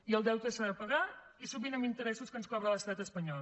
i el deute s’ha de pagar i sovint amb interessos que ens cobra l’estat espanyol